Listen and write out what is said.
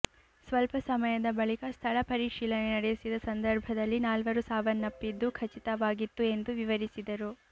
ಸ್ವಲ್ಪ ಸಮಯದ ಬಳಿಕ ಸ್ಥಳ ಪರಿಶೀಲನೆ ನಡೆಸಿದ ಸಂದರ್ಭದಲ್ಲಿ ನಾಲ್ವರು ಸಾವನ್ನಪ್ಪಿದ್ದು ಖಚಿತವಾಗಿತ್ತು ಎಂದು ವಿವರಿಸಿದರು